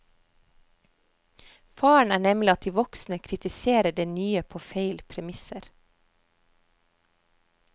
Faren er nemlig at de voksne kritiserer det nye på feil premisser.